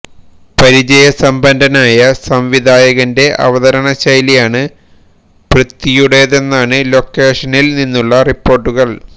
പരിചയസമ്പന്നനായ സംവിധായകന്റെ അവതരണ ശൈലിയാണ് പൃഥ്വിയുടേതെന്നാണ് ലൊക്കേഷനില് നിന്നുളള റിപ്പോര്ട്ടുകള്